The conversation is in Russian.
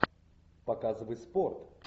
показывай спорт